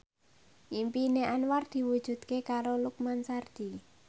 impine Anwar diwujudke karo Lukman Sardi